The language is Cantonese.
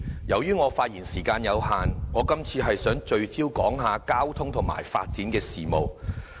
由於我的發言時間有限，我今次想聚焦談論交通和發展的事宜。